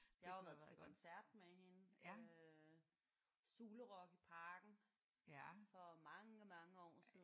Jeg har jo været til koncert med hende øh Zulu Rocks i Parken for mange mange år siden